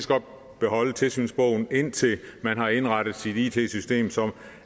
godt beholde tilsynsbogen indtil man har indrettet sit it system sådan